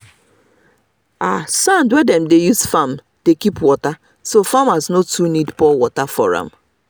sand wey dem dey use farm dey keep water so farmers no too need dey pour water for am.